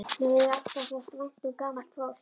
Mér hefur alltaf þótt vænt um gamalt fólk.